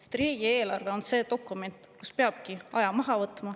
Sest riigieelarve on see dokument, kus peabki aja maha võtma.